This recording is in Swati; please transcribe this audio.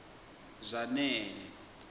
zanele